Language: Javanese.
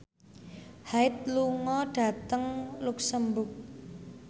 Hyde lunga dhateng luxemburg